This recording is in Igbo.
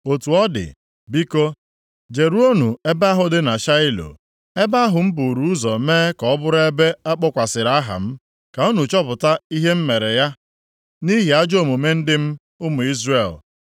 “ ‘Otu ọ dị, biko, Jeruonụ ebe ahụ dị na Shaịlo, ebe ahụ m buru ụzọ mee ka ọ bụrụ ebe a kpọkwasịrị aha m, ka unu chọpụta ihe m mere ya nʼihi ajọ omume ndị m, ụmụ Izrel.